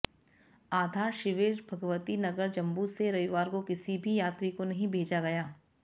आधार शिविर भगवती नगर जम्मू से रविवार को किसी भी यात्री को नहीं भेजा गया